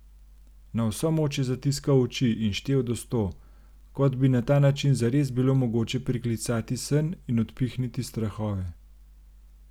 Na vso moč je zatiskal oči in štel do sto, kot bi na ta način zares bilo mogoče priklicati sen in odpihniti strahove.